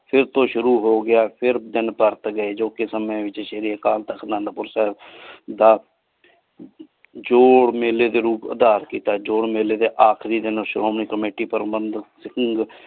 ਫਿਰ ਤੂ ਸ਼ੁਰੂ ਹੋ ਗਯਾ ਫਿਰ ਤੀਨ ਪਾਤ ਗਏ ਜੋ ਕਿ ਸਾਮੀ ਵਿਚ ਸ਼੍ਰੀ ਅਨੰਦਪੁਰ ਸਾਹਿਬ ਦਾ ਜੋ ਮੇਲੀ ਦਾ ਰੂਪ ਆਦਰ ਕੀਤਾ ਜੋ ਮੇਲੀ ਦੇ ਆਖਰੀ ਦਿਨ ਸ਼ੋਮਣੀ committee ਪਰ੍ਭੰਦ।